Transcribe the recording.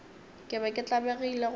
ke be ke tlabegile gore